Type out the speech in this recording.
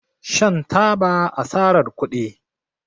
Shan taba asarar kudi